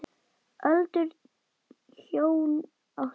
Öldruð hjón áttu hann.